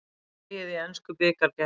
Dregið í ensku bikarkeppninni